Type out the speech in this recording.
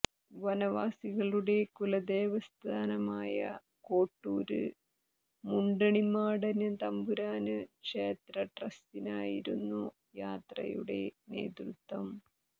വനവാസികളുടെ കുലദേവസ്ഥാനമായ കോട്ടൂര് മുണ്ടണിമാടന് തമ്പുരാന് ക്ഷേത്രട്രസ്റ്റിനായിരുന്നു യാത്രയുടെ നേതൃത്വം